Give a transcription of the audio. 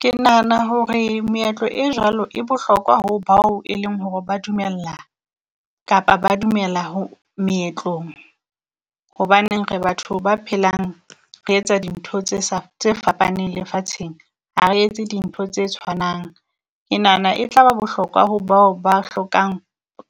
Ke nahana hore meetlo e jwalo e bohlokwa ho bao e leng hore ba dumella, kapa ba dumela ho meetlong. Hobaneng re batho ba phelang re etsa dintho tse sa tse fapaneng lefatsheng a re etse dintho tse tshwanang. Ke nahana e tla ba bohlokwa ho bao ba hlokang